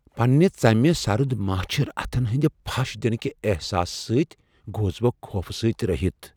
پننہ ژمہ سرد ماچھِر اتھن ہندِ پھش دِنٕكہ احساس سۭتۍ گوس بہ خوفہٕ سٕتۍ رہِتھ ۔